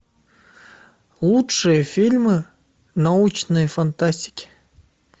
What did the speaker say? лучшие фильмы научной фантастики